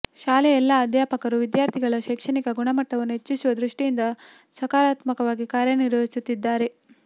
ಶಾಲೆಯ ಎಲ್ಲಾ ಅಧ್ಯಾಪಕರು ವಿದ್ಯಾರ್ಥಿಗಳ ಶೈಕ್ಷಣಿಕ ಗುಣಮಟ್ಟವನ್ನು ಹೆಚ್ಚಿಸುವ ದೃಷ್ಠಿಯಿಂದ ಸಕರಾತ್ಮಕವಾಗಿ ಕಾರ್ಯನಿರ್ವಹಿಸುತ್ತಿದ್ಧಾರೆ